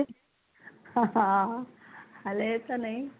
ਹਾਂ ਹਲੇ ਤਾਂ ਨਹੀਂ